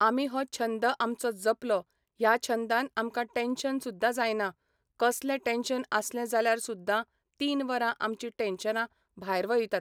आमी हो छंद आमचो जपलो ह्या छंदान आमकां टेन्शन सुद्दां जायना कसलें टेन्शन आसलें जाल्यार सुद्दां तीन वरां आमची टेन्शनां भायर वयतात